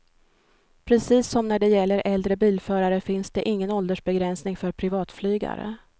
Precis som när det gäller äldre bilförare finns det ingen åldersbegränsning för privatflygare.